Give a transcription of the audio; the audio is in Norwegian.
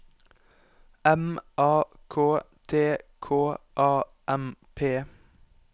M A K T K A M P